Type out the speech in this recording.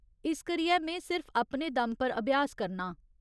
इस करियै में सिर्फ अपने दम पर अभ्यास करनां ।